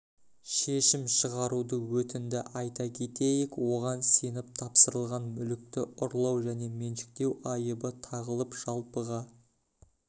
шешім шығаруды өтінді айта кетейік оған сеніп тапсырылған мүлікті ұрлау және меншіктеу айыбы тағылып жалпыға